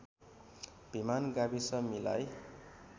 भिमान गाविस मिलाई